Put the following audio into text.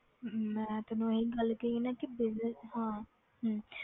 ਹਮ ਮੈਂ ਤੈਨੂੰ ਇਹੀ ਗੱਲ ਕਹੀ ਆ ਨਾ ਕਿ business ਹਾਂ ਹਮ